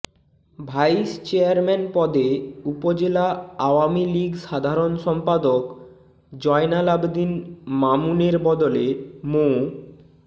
vice chairman পদে উপজেলা আওয়ামী লীগ সাধারণ সম্পাদক জয়নাল আবদীন মামুনের বদলে মো